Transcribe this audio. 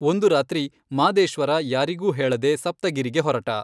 ಒಂದು ರಾತ್ರಿ ಮಾದೇಶ್ವರ ಯಾರಿಗೂ ಹೇಳದೆ ಸಪ್ತಗಿರಿಗೆ ಹೊರಟ.